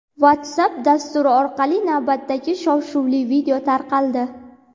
WhatsApp dasturi orqali navbatdagi shov-shuvli video tarqaldi.